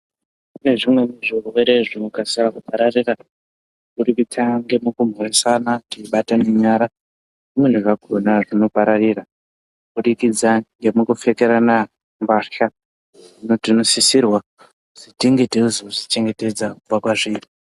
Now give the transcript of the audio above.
Kune zvimweni zvirwere zvinokasira kupararira kubudikidza ngekumhoresana teibatana nyara zvimweni zvakona zvinopararira kubudikidza ngemukupfekerana mbahla hino tinosisirwa kuzi tinge teizozvichengetedza kubva kwazviri.